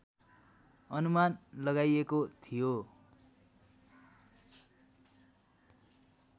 अनुमान लगाइएको थियो